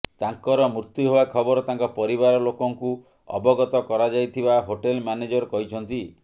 ତାଙ୍କର ମୃତ୍ୟୁ ହେବା ଖବର ତାଙ୍କ ପରିବାର ଲୋକଙ୍କୁ ଅବଗତ କରାଯାଇଥିବା ହୋଟେଲ ମ୍ଯାନେଜର କହିଛନ୍ତି